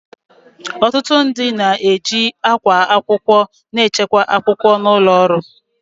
Ọtụtụ ndị na-eji akwa akwụkwọ na-echekwa akwụkwọ n'ụlọ ọrụ